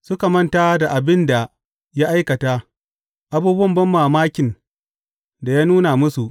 Suka manta da abin da ya aikata, abubuwan banmamakin da ya nuna musu.